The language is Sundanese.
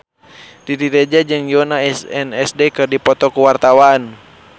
Riri Reza jeung Yoona SNSD keur dipoto ku wartawan